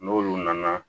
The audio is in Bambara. N'olu nana